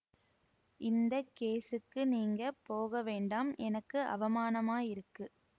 இந்த கேஸுக்கு நீங்க போக வேண்டாம் எனக்கு அவமானமாயிருக்கு